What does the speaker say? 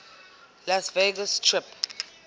las vegas strip